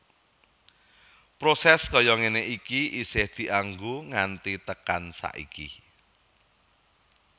Proses kaya ngene iki isih dianggo nganti tekan saiki